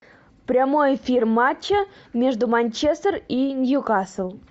прямой эфир матча между манчестер и нью касл